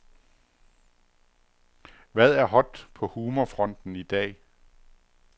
Hvad er hot på humorfronten i dag?